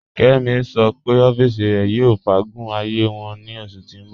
Kẹ́mí ṣọ́ pẹ̀ ọ̀fìísì rẹ̀ yóò fàágún ààyé wọn ní oṣù tí n bọ̀